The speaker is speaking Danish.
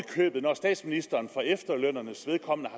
købet når statsministeren for efterlønnernes vedkommende